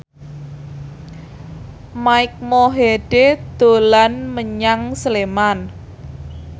Mike Mohede dolan menyang Sleman